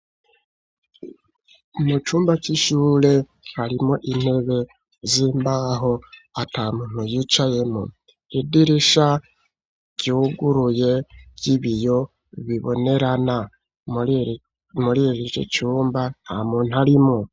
Mu cumba c'ishure harimo intebe z'imbaho ata muntu yicaye mw'idirisha ryuguruye ry'ibiyo bibonerana muririro cumba nta muntu arimwo.